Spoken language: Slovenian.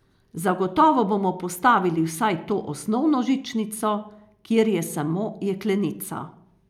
Zagotovo bomo postavili vsaj to osnovno žičnico, kjer je samo jeklenica.